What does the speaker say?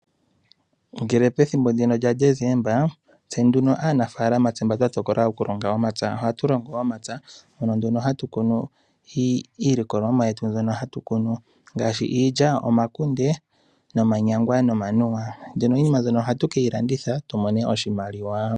Ngele pethimbo ndino lyaDesemba, aanafalama mba twa tokola okulonga omapya, ohatu longo omapya. Mpono nduno hatu kunu iilikolomwa yetu mbyono hatu kunu ngaashi iilya, omakunde, nomanyangwa, nomanuwa. Mbyono iinima mbyono ohatu ke yi landitha tu mone oshimaliwa.